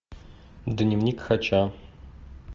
дневник хача